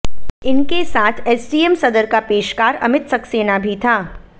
इनके साथ एसडीएम सदर का पेशकार अमित सक्सेना भी था